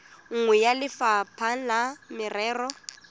nngwe ya lefapha la merero